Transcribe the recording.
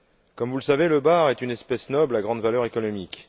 Comme vous le savez, le bar est une espèce noble à grande valeur économique.